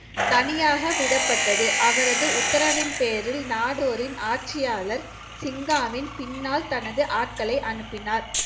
தனியாக விடப்பட்டது அவரது உத்தரவின் பேரில் நாடோரின் ஆட்சியாளர் சிங்காவின் பின்னால் தனது ஆட்களை அனுப்பினார்